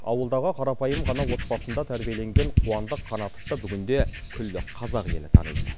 ауылдағы қарапайым ғана отбасында тәрбиеленген қуандық қанатовты бүгінде күллі қазақ елі таниды